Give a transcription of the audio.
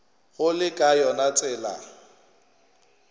go le ka yona tsela